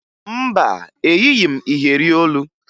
Mba, eyighi m iyeri olu